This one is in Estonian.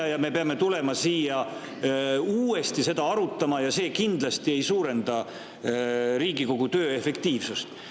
Sel juhul me peame tulema uuesti seda arutama ja see kindlasti ei suurenda Riigikogu töö efektiivsust.